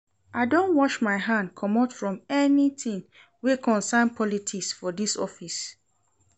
I don wash my hand comot from anytin wey concern politics for dis office.